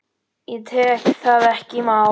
Ég tek það ekki í mál!